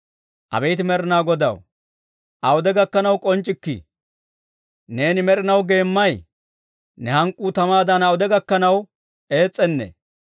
Abeet Med'inaa Godaw, awude gakkanaw k'onc'c'ikkii? Neeni med'inaw geemmay? Ne hank'k'uu tamaadan awude gakkanaw ees's'anee?